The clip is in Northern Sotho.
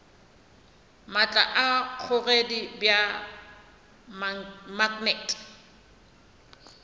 maatla a kgogedi bja maknete